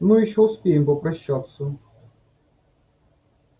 ну ещё успеем попрощаться